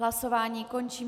Hlasování končím.